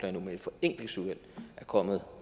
endnu men et forenklingsudvalg er kommet